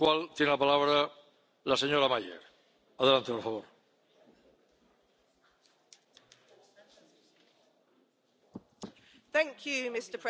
Mr President, I voted against this report.